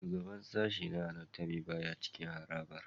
Shugaban sashen na Anatomy baya cikin harabar